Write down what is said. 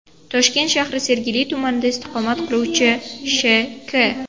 Toshkent shahri Sergeli tumanida istiqomat qiluvchi Sh.K.